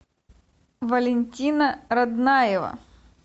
валентина роднаева